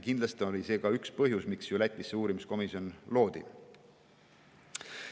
Kindlasti oli see ka üks põhjus, miks Lätis see uurimiskomisjon loodi.